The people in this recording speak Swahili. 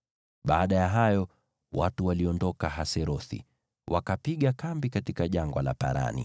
Baada ya hayo, watu waliondoka Haserothi, wakapiga kambi katika Jangwa la Parani.